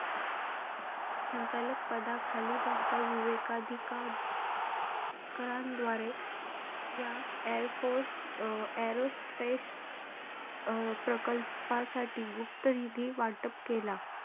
संचालक पदाखाली त्यांचा विवेकाधिका कारांद्वारे या airforce aerospace प्रकल्पासाठी गुप्तनिधी वाटप केला.